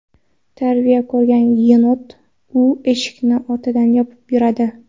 Tarbiya ko‘rgan yenot: u eshikni ortidan yopib yuradi .